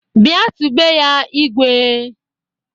Bịa tibe ya "Igwee"!